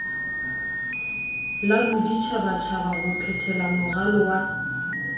la boditjhabatjhaba ho phethelamoralo wa